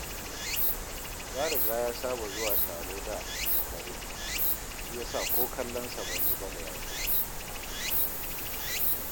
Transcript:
Ya riga ya saba zuwa taro da a makare, shi ya sa ko kallonsa ban yi ba da ya shigo